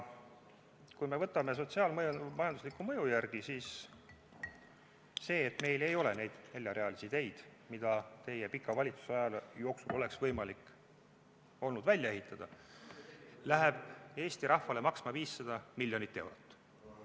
Kui me võtame sotsiaal-majandusliku mõju järgi, siis see, et meil ei ole neid neljarealisi teid, mida teie pika valitsuse aja jooksul oleks olnud võimalik välja ehitada, läheb Eesti rahvale maksma 500 miljonit eurot.